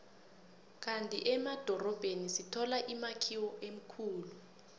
kandi emadorobheni sithola imakhiwo emikhulu